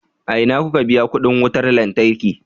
A ina kuka biya kuɗin wutar lantarki?